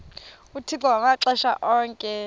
uthixo ngamaxesha onke